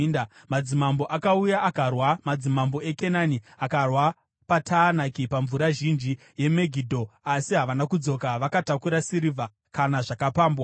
“Madzimambo akauya, akarwa; madzimambo eKenani akarwa paTaanaki pamvura zhinji yeMegidho, asi havana kudzoka vakatakura sirivha, kana zvakapambwa.